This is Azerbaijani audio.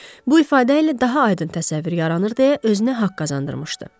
Bu ifadə ilə daha aydın təsəvvür yaranır deyə özünə haqq qazandırmışdı.